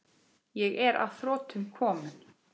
Ég er að þrotum kominn.